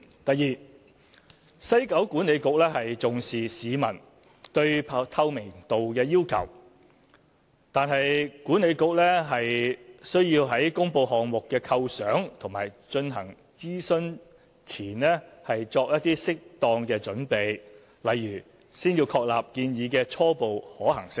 第二，西九管理局重視市民對透明度的要求，但管理局需要在公布項目構想和進行諮詢前作適當準備，例如先要確立建議的初步可行性。